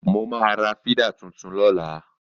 Mo máa ra fídà tuntun lọ́la